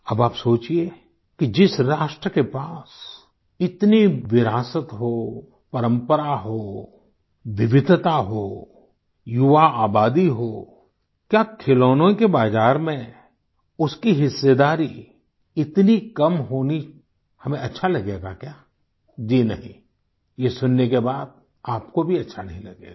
अब आप सोचिए कि जिस राष्ट्र के पास इतनी विरासत हो परम्परा हो विविधता हो युवा आबादी हो क्या खिलौनों के बाजार में उसकी हिस्सेदारी इतनी कम होनी हमें अच्छा लगेगा क्या जी नहीं ये सुनने के बाद आपको भी अच्छा नहीं लगेगा